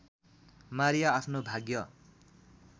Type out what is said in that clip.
Maria आफ्नो भाग्य